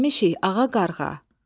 "Gəlmişik Ağa Qarğa!"